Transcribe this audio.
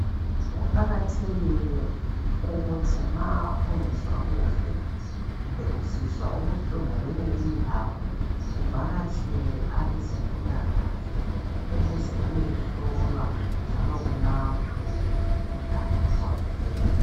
Kuqakathekile ukuthi ma ungezwa kuhle kumbe usizwa ubuhlungu kweyinye indawo uvakatshele abezempilakahle ukuze uyehlolwa njalo ulatshwe umkhuhlane oqondileyo.